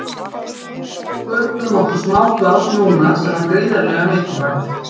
Við sköpuðum okkur smá pláss núna sem var gríðarlega mikilvægt.